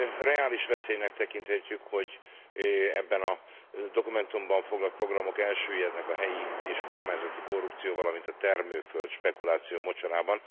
Reális veszélynek tekinthetjük, hogy az ebben a dokumentumban foglalt programok elsüllyednek a helyi és kormányzati korrupció, valamint a termőföld spekuláció mocsarában.